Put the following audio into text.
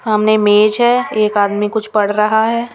सामने मेज है एक आदमी कुछ पढ़ रहा है।